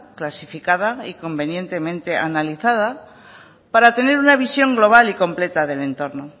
clasificada y convenientemente analizada para tener una visión global y completa del entorno